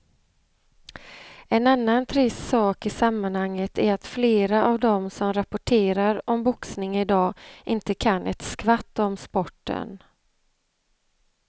En annan trist sak i sammanhanget är att flera av de som rapporterar om boxning i dag inte kan ett skvatt om sporten.